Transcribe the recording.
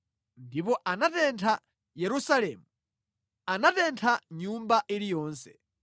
Ndipo anatentha Nyumba ya Yehova, nyumba ya mfumu ndi nyumba zonse za mu Yerusalemu. Anatentha nyumba iliyonse.